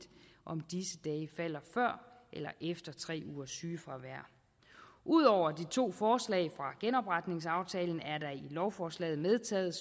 om disse dage falder før eller efter tre ugers sygefravær ud over de to forslag fra genopretningsaftalen er der i lovforslaget medtaget